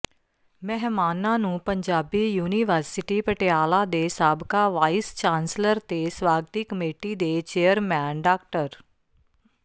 ਮਹਿਮਾਨਾਂ ਨੂੰ ਪੰਜਾਬੀ ਯੂਨੀਵਰਸਿਟੀ ਪਟਿਆਲਾ ਦੇ ਸਾਬਕਾ ਵਾਈਸ ਚਾਂਸਲਰ ਤੇ ਸਵਾਗਤੀ ਕਮੇਟੀ ਦੇ ਚੇਅਰਮੈਨ ਡਾ